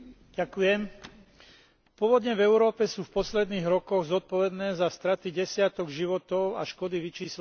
Povodne v Európe sú v posledných rokoch zodpovedné za straty desiatok životov a škody vyčíslené v miliardách eur.